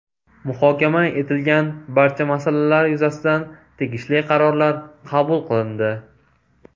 Muhokama etilgan barcha masalalar yuzasidan tegishli qarorlar qabul qilindi.